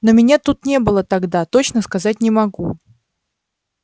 но меня тут не было тогда точно сказать не могу